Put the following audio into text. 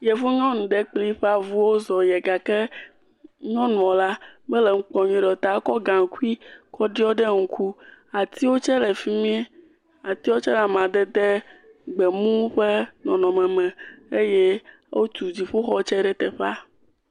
Yevo nyɔnu ɖe kpli eƒe avu wo zɔ ye gake nyɔnuɔ la mele ŋu kpɔ nyuie ɖeo ta ekɔ gaŋkui kɔ ɖiɔ ɖe ŋuku, atiwo tse le fimie, atiwo tse le amadede gbemu ƒe nɔnɔme me eye o tu dziƒo tse ɖe teƒa.